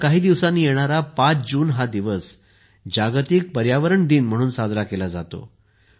आता काही दिवसांनी येणारा 5 जून हा दिवस जागतिक पर्यावरण दिवस म्हणून साजरा केला जातो